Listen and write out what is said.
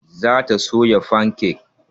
Za ta soya fanke